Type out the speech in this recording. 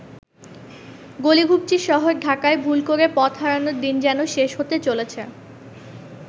গলি-ঘুপচির শহর ঢাকায় ভুল করে পথহারানোর দিন যেন শেষ হতে চলেছে।